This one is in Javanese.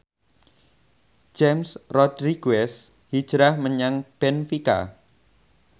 James Rodriguez hijrah menyang benfica